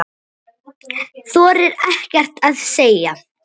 Þorir ekkert að segja.